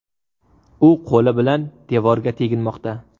U qo‘li bilan devorga teginmoqda.